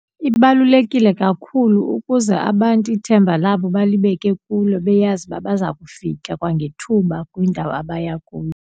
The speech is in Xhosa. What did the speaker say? Ibalulekile kakhulu ukuze abantu ithemba labo balibeke kulo beyazi uba baza kufika kwangethuba kwindawo abaya kuyo.